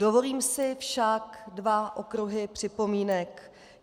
Dovolím si však dva okruhy připomínek.